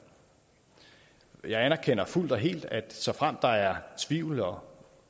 jeg anerkender fuldt og helt at såfremt der er tvivl og